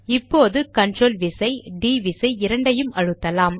இப்போது கண்ட்ரோல் விசை டிD விசை இரண்டையும் அழுத்தலாம்